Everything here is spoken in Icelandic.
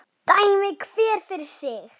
Dæmi hver fyrir sig!